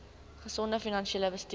gesonde finansiële bestuur